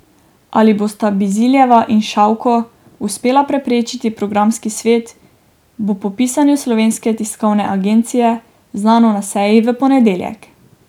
Ali bosta Biziljeva in Šavko uspela prepričati programski svet, bo po pisanju Slovenske tiskovne agencije znano na seji v ponedeljek.